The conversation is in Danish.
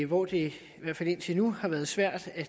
hvor det i hvert fald indtil nu har været svært at